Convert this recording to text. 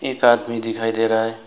एक आदमी दिखाई दे रहा है।